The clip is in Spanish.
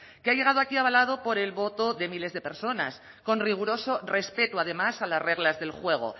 que ha llegado aquí avalado por el voto de miles de personas con riguroso respeto además a las reglas del juego